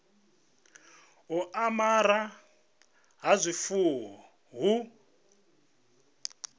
u amara ha zwifuwo hu